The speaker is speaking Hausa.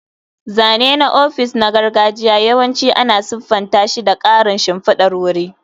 Zane na ofis na gargajiya yawanci ana siffanta shi da ƙarin shimfidar wuri.